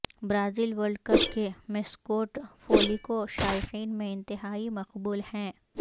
Brazil world cup کے mascot Fuleco شائقین میں انتہائی مقبول ہیں